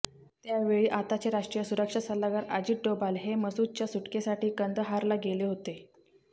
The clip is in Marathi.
त्यावेळी आताचे राष्ट्रीय सुरक्षा सल्लागार अजित डोभाल हे मसूदच्या सुटकेसाठी कंदहारला गेले होते